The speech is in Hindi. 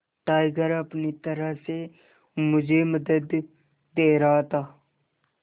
टाइगर अपनी तरह से मुझे मदद दे रहा था